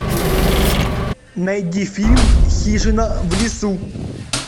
найди фильм хижина в лесу